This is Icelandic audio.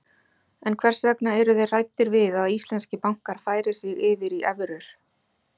En hvers vegna eru þeir hræddir við að íslenskir bankar færi sig yfir í evrur?